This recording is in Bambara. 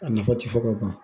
A nafa tɛ fɔ ka ban